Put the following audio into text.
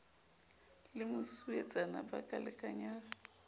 le mosuwetsana ba ka lekanyang